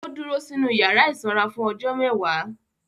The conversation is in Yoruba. Ó dúró sínu yàrá ìsanra fún ọjọ́ mẹ́wàá